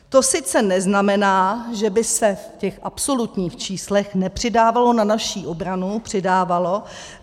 To sice neznamená, že by se v těch absolutních číslech nepřidávalo na naši obranu, přidávalo.